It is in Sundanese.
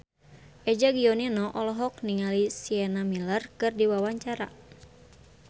Eza Gionino olohok ningali Sienna Miller keur diwawancara